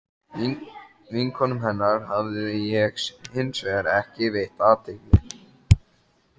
Georg Fannar í reit Besti íþróttafréttamaðurinn?